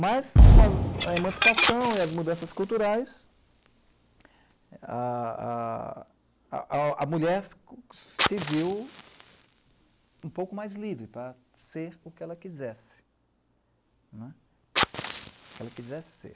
Mas, com as emancipação e as mudanças culturais, a a a a mulher se se viu um pouco mais livre para ser o que ela quisesse né, o que ela quisesse ser.